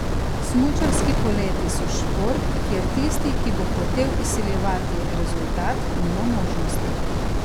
Smučarski poleti so šport, kjer tisti, ki bo hotel izsiljevati rezultat, nima možnosti.